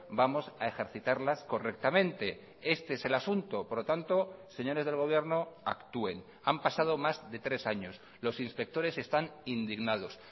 vamos a ejercitarlas correctamente este es el asunto por lo tanto señores del gobierno actúen han pasado más de tres años los inspectores están indignados